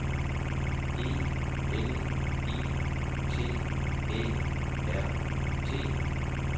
E L I T Æ R T